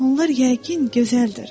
Onlar yəqin gözəldir.